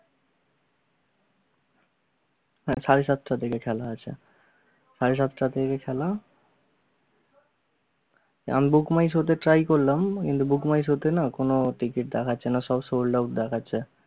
সাড়ে সাতটা থেকে খেলা আচ্ছা। সাড়ে সাতটা থেকে খেলা আমি book my show তে try করলাম কিন্তু book my show তে না কোনো ticket দেখাচ্ছে না, সব sold out দেখাচ্ছে